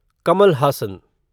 Kamal Haasan